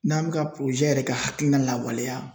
N'an bɛ ka yɛrɛ ka hakilina lawaleya